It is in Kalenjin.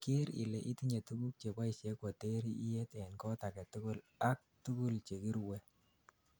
ker ile itinyei tuguk cheboishe koter iyet en kot agetugul ak tugul chekiruwe